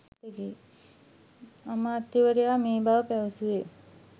අමාත්‍යවරයා මේ බව පැවසුවේ